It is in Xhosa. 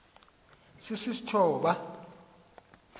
sisistoba